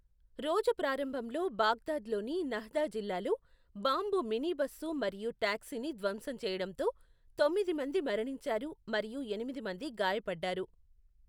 రోజు ప్రారంభంలో, బాగ్దాద్లోని నహ్దా జిల్లాలో బాంబు మినీబస్సు మరియు టాక్సీని ధ్వంసం చేయడంతో, తొమ్మిది మంది మరణించారు మరియు ఎనిమిది మంది గాయపడ్డారు.